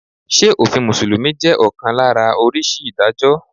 Ṣé òfin Mùsùlùmí jẹ́ ọ̀kan lára oríṣi Ìdájọ́?